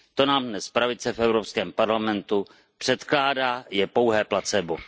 Co nám dnes pravice v Evropském parlamentu předkládá, je pouhé placebo.